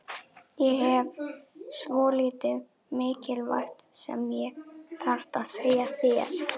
Ég hef svolítið mikilvægt sem ég þarf að segja þér.